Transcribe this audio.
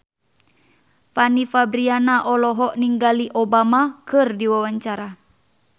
Fanny Fabriana olohok ningali Obama keur diwawancara